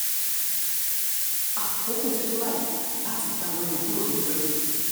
àkókò ti tó báyìí láti gba àwọn èèyàn kúrò lóko ẹrú